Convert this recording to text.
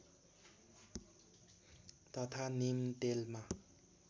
तथा नीम तेलमा